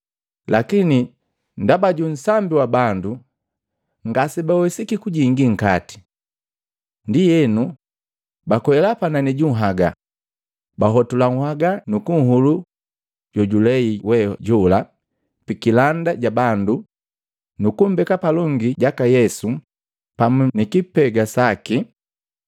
Lakini ndaba ju nsambi wa bandu, ngasebawesiki kujingi nkate. Ndienu, bakwela panani ju nhagaa bahotula nhagaa nukunhulu jojulei we jola pikilanda ja bandu nukumbeka palongi jaka Yesu pamu nilipega laki.